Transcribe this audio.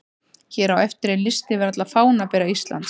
Hér á eftir er listi yfir alla fánabera Íslands: